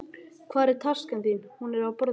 Hvar er taskan þín? Hún er á borðinu.